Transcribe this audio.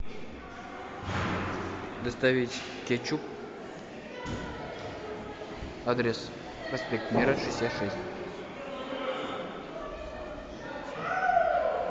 доставить кетчуп адрес проспект мира шестьдесят шесть